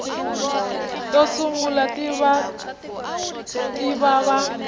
to sungula ti ta va